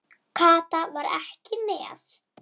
Kata var ekki með.